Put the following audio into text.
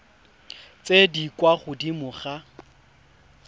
tse di kwa godimo ga